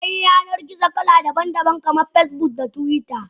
Akwai Yanar gizo kala daban daban kaman Facebook da twitter.